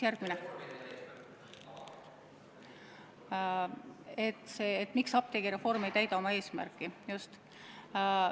Järgmine küsimus: miks apteegireform ei täida oma eesmärki?